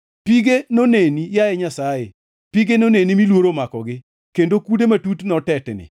Pige noneni, yaye Nyasaye, pige noneni mi luoro omakogi, kendo kude matut notetni.